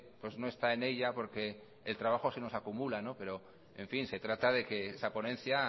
pues no está en ella porque el trabajo se nos acumula pero en fin se trata de que esa ponencia